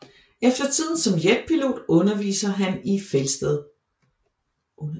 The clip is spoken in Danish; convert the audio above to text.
Efter tiden som jetpilot underviste han i Felsted